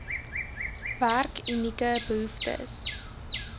werk unieke behoeftes